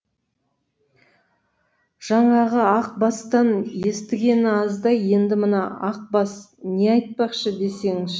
жаңағы ақ бастан естігені аздай енді мына ақ бас не айтпақшы десеңші